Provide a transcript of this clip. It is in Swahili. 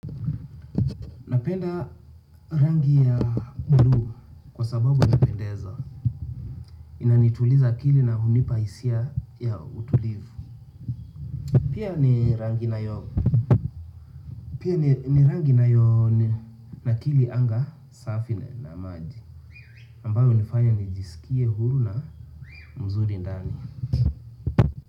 Napenda rangi ya buluu kwa sababu inapendeza. Inanituliza akili na hunipa hisia ya utulivu. Pia ni rangi inayonakili anga safi na maji. Ambayo hunifanya nijisikie huru na mzuri ndani.